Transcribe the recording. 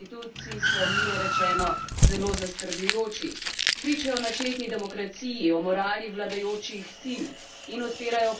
Pričajo o načeti demokraciji, o morali vladajočih sil in odpirajo vprašanje legitimnosti vladanja trenutne oblasti.